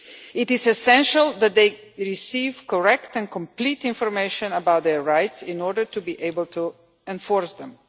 It is essential that they receive correct and complete information about their rights in order to be able to enforce them.